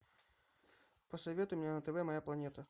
посоветуй мне на тв моя планета